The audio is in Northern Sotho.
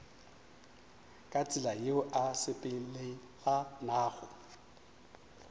ka tsela yeo e sepelelanago